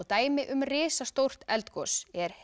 dæmi um risastórt eldgos er